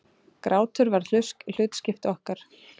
Grátur varð hlutskipti okkar.